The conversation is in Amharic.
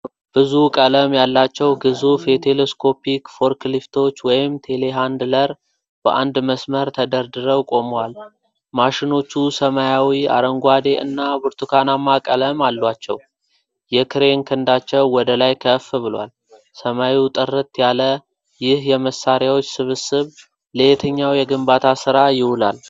ብዙ ቀለም ያላቸው ግዙፍ የቴሌስኮፒክ ፎርክሊፍቶች (ቴሌሀንድለር) በአንድ መስመር ተደርድረው ቆመዋል። ማሽኖቹ ሰማያዊ፣ አረንጓዴ እና ብርቱካናማ ቀለሞች አሏቸው፤ የክሬን ክንዳቸው ወደ ላይ ከፍ ብሏል። ሰማዩ ጥርት ያለ ፣ ይህ የመሣሪያዎች ስብስብ ለየትኛው የግንባታ ሥራ ይውላል?